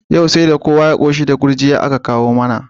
Yau saida kowa ya qoshi da dafaffar gurjiyar da aka kawo mana